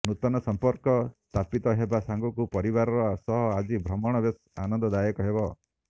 ନୂତନ ସମ୍ପର୍କ ସ୍ଥାପିତ ହେବା ସଙ୍ଗକୁ ପରିବାର ସହ ଆଜିର ଭ୍ରମଣ ବେଶ୍ ଆନନ୍ଦ ଦାୟକ ହେବ